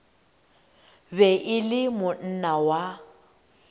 be e le monna wa